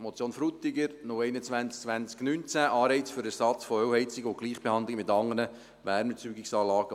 Die Motion Frutiger 021-2019, Anreiz für Ersatz von Ölheizungen und Gleichbehandlung mit anderen Wärmeerzeugungsanlagen: